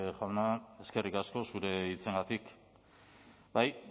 jauna eskerrik asko zure hitzengatik bai